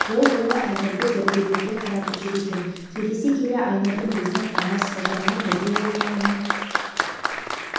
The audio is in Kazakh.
ол ұлы әмірді дәрігерлерге қаратып жүр екен сөйлесе келе айнұрдың біздің алмат сайжанмен бірге оқығанын